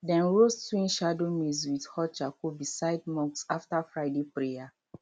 dem roast twin shadow maize with hot charcoal beside mosque after friday prayer